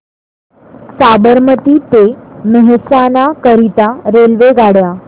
साबरमती ते मेहसाणा करीता रेल्वेगाड्या